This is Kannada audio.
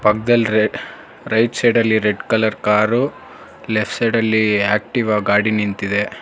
ರೈಟ್ ಸೈಡಲ್ಲಿ ರೆಡ್ ಕಲರ್ ಕಾರು ಲೆಫ್ಟ್ ಸೈಡಲ್ಲಿ ಆಕ್ಟಿವಾ ಗಾಡಿ ನಿಂತಿದೆ.